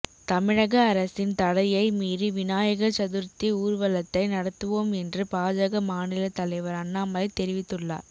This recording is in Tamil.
தமிழக அரசின் தடையை மீறி விநாயகர் சதுர்த்தி ஊர்வலத்தை நடத்துவோம் என்று பாஜக மாநில தலைவர் அண்ணாமலை தெரிவித்துள்ளார்